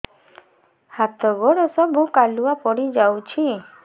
ହାତ ଗୋଡ ସବୁ କାଲୁଆ ପଡି ଯାଉଛି